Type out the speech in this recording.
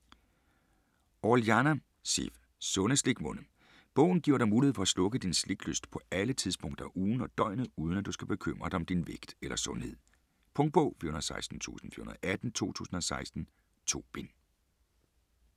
Orellana, Sif: Sunde slikmunde Bogen giver dig mulighed for at slukke din sliklyst på alle tidspunkter af ugen og døgnet uden at du skal bekymre dig om din vægt eller sundhed. Punktbog 416418 2016. 2 bind.